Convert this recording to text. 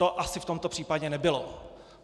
To asi v tomto případě nebylo.